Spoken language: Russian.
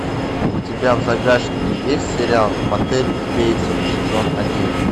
у тебя в загашнике есть сериал мотель бейтсов сезон один